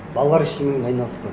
балалар ештеңемен айналыспайды